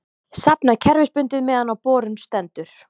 safnað kerfisbundið meðan á borun stendur.